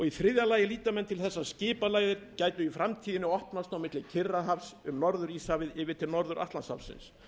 í þriðja lagi líta menn til þess að skipaleiðir gætu í framtíðinni opnast milli kyrrahafs um norður íshafið yfir til norður atlantshafsins